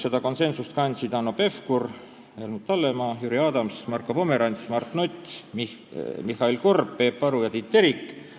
Seda konsensust kandsid Hanno Pevkur, Helmut Hallemaa, Jüri Adams, Marko Pomerants, Mart Nutt, Mihhail Korb, Peep Aru ja Tiit Terik.